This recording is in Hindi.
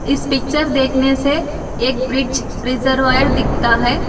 इस पिक्चर देखने से एक ब्रिज वायर दिखता है।